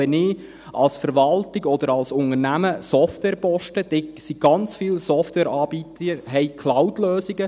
Wenn ich als Verwaltung oder als Unternehmen Software kaufe, dann haben ganz viele Softwareanbieter Cloudlösungen.